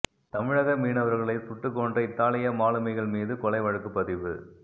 தமிழக மீனவர்களை சுட்டுக் கொன்ற இத்தாலிய மாலுமிகள் மீது கொலை வழக்குப்பதிவு